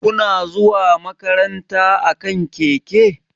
Kuna zuwa makaranta akan keke?